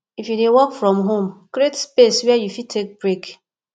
if you dey work from home create space where you fit take break